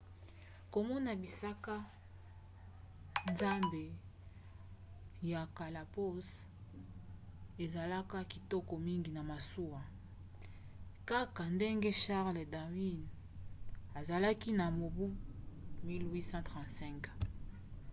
komona bisika zamba ya galapagos ezalaka kitoko mingi na masuwa kaka ndenge charles darwin asalaki na mobu 1835